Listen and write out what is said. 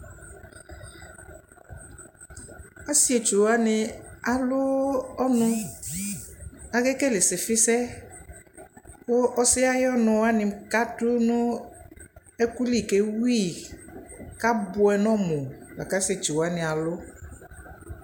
Asitso nι alʋ ɔnʋk afua alɛ nʋ udu kadu ʋlɔ ɛfua kʋ afua alɛ ɛdι nʋ ɛdι kʋ adʋ afukpa Amɔ ɔvlɛ nʋ ikponʋ la kʋ afua alɛ nʋ udu nʋ ɔnu yɛ